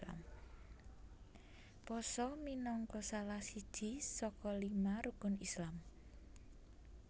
Pasa minangka salah siji saka lima Rukun Islam